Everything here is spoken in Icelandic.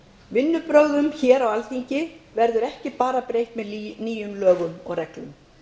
vinnubrögðum hér á alþingi verður ekki bara breytt með nýjum lögum og reglum